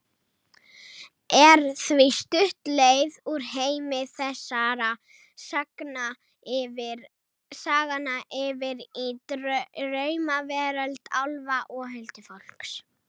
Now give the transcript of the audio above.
Er því stutt leið úr heimi þessara sagna yfir í draumaveröld álfa og huldufólks.